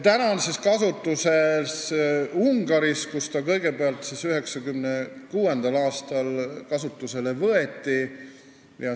Praegu on selline võimalus olemas Ungaris, kus see 1996. aastal kasutusele võeti.